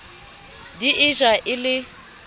di e ja e le